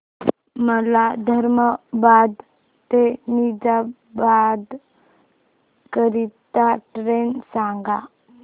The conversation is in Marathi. मला धर्माबाद ते निजामाबाद करीता ट्रेन सांगा